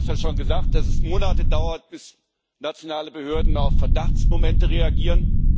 Viele haben ja schon gesagt, dass es Monate dauert, bis nationale Behörden auf Verdachtsmomente reagieren.